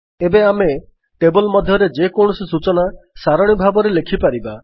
ଏବେ ଆମେ ଟେବଲ୍ ମଧ୍ୟରେ ଯେକୌଣସି ସୂଚନା ସାରଣୀ ଭାବରେ ଲେଖିପାରିବା